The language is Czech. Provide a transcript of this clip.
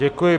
Děkuji.